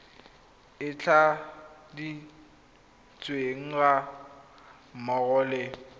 e tladitsweng ga mmogo le